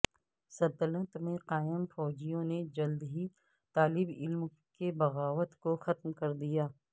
سلطنت میں قائم فوجیوں نے جلد ہی طالب علم کے بغاوت کو ختم کر دیا